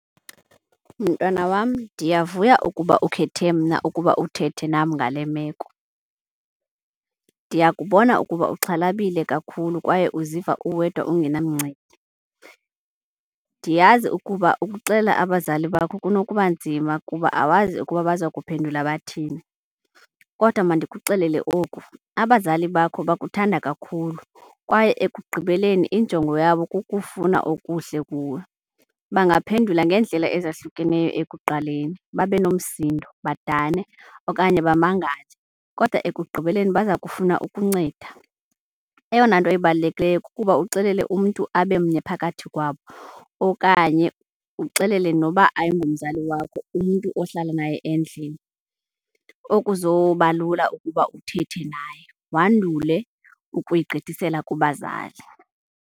Mntwana wam, ndiyavuya ukuba ukhethe mna ukuba uthethe nam ngale meko. Ndiyakubona ukuba uxhalabile kakhulu kwaye uziva uwedwa ungenamncedi. Ndiyazi ukuba ukuxelela abazali bakho kunokuba nzima kuba awazi ukuba baza kuphendula bathini. Kodwa mandikuxelele oku, abazali bakho bakuthanda kakhulu kwaye ekugqibeleni injongo yabo kukufuna okuhle kuwe. Bangaphendula ngeendlela ezahlukeneyo ekuqaleni, babe nomsindo, badane okanye bamangale kodwa ekugqibeleni baza kufuna ukunceda. Eyona nto ibalulekileyo kukuba uxelele umntu abemnye phakathi kwabo okanye uxelele noba ayingomzali wakho, umntu ohlala naye endlini okuzoba lula ukuba uthethe naye, wandule ukuyigqithisela kubazali.